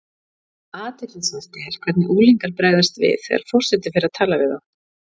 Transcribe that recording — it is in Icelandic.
Athyglisvert er hvernig unglingar bregðast við þegar forseti fer að tala við þá.